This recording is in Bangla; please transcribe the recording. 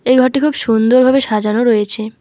এই ঘরটি খুব সুন্দরভাবে সাজানো রয়েছে।